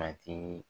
A tigi